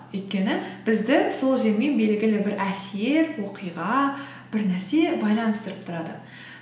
өйткені бізді сол жермен белгілі бір әсер оқиға бір нәрсе байланыстырып тұрады